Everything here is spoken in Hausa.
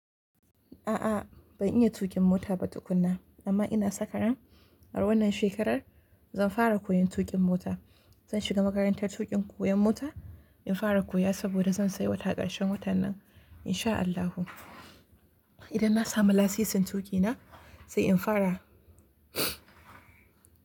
A'a ban iya tuƙin mota ba tukuna amma ina saka ran. A wannan shekarar zan fara koyon tuƙin mota. Zan shiga makarantar tuƙin koyan mota in fara koya saboda zan sayi mota ƙarshen watan nan insha Allahu. Idan na samu lasisin tuƙi na sai in fara.